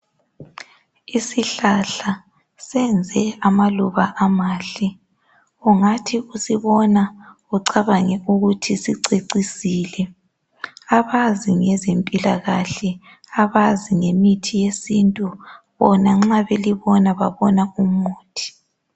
Isihlahla senze amaluba amahle. Ungathi usibona ucabane ukuthi sicecisile. Abazi ngezempilakahle abazi ngemithi yesintu bona nxa belibona babona umuthi.